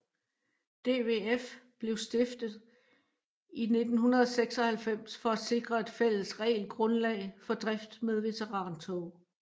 DVF blev stiftet i 1996 for at sikre et fælles regelgrundlag for drift med veterantog